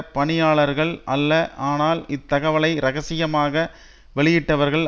பணியாளர்கள் அல்ல ஆனால் இந்த தகவலை இரகசியமாக வெளியிட்டவர்கள்